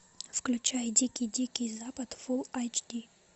включай дикий дикий запад фул айч ди